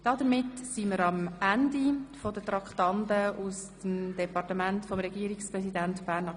– Damit sind wir am Ende der Traktanden aus der Erziehungsdirektion.